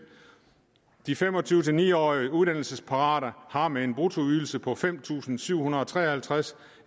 de fem og tyve til ni og tyve årige uddannelsesparate har med en bruttoydelse på fem tusind syv hundrede og tre og halvtreds